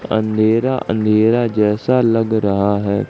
अंधेरा अंधेरा जैसा लग रहा है।